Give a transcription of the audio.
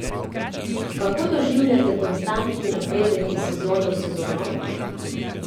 Kako doživljate konstantni napredek iz sezone v sezono?